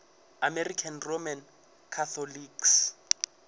american roman catholics